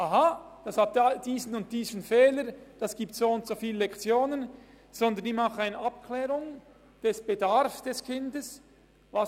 Aha, es hat diesen oder jenen Fehler, das gibt soundso viele Lektionen.» –, sondern sie klären den Bedarf des Kindes ab: